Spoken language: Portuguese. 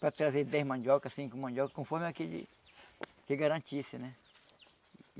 Para trazer dez mandioca, cinco mandioca, conforme aquilo que garantisse, né?